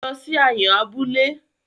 Lọ sí Ayọ̀n abúlé!